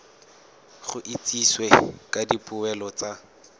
go itsisiwe ka dipoelo tsa